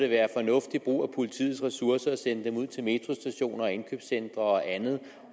være fornuftig brug af politiets ressourcer at sende dem ud til metrostationer indkøbscentre og andet